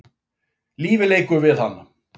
Lífið leikur við hana.